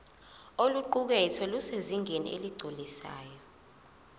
oluqukethwe lusezingeni eligculisayo